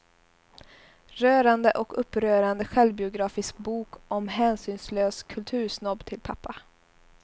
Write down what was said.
Rörande och upprörande självbiografisk bok om hänsynslös kultursnobb till pappa.